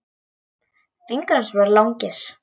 Fingur hans voru langir.